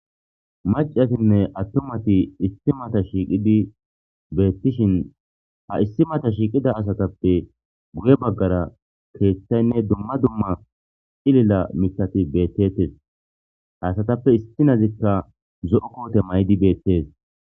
Maccatinne atumati issi mata shiiqidi beetishin ha issi mata shiiqida asatappe guye bagaara keeththaynne dumma dumma cilila miththati beetetees; ha asatappe issinazika zo'o koote mayidi beetes.